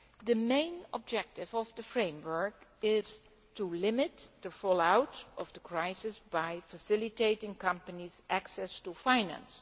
The main objective of the framework is to limit the fallout of the crisis by facilitating companies' access to finance.